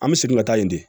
An bɛ segin ka taa yen de